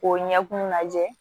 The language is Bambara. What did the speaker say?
K'o ɲɛkun lajɛ